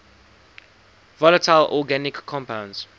volatile organic compounds